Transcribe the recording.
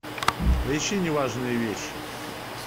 поищи неважные вещи